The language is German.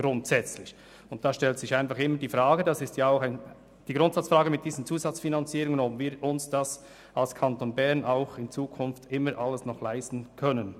Es stellt sich hier die Grundsatzfrage, ob sich der Kanton Bern das in Zukunft alles noch leisten kann.